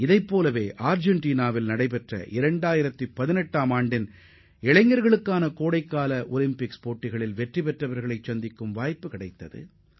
அதேபோன்று அர்ஜென்டினாவில் நடைபெற்ற 2018 ஆம் ஆண்டுக்கான இளையோர் கோடைகால ஒலிம்பிக் போட்டியில் வெற்றி பெற்றவர்களை சந்திக்கும் அரிய வாய்ப்பும் எனக்கு கிடைத்தது